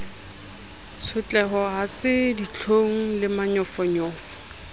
tshotleho ha se ditlhong lemanyofonyofo